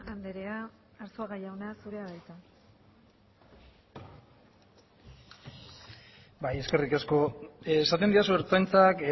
andrea arzuaga jauna zurea da hitza bai eskerrik asko esaten didazu ertzaintzak